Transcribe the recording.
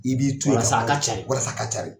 I b'i to yan, walasa ka cari, walasa ka cari.